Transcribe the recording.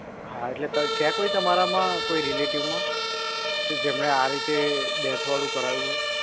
હા એટલે છે કોઈ તમારામાં કોઈ relative માં? કે જેમણે આ રીતે death વાળું કરાવ્યું હોય.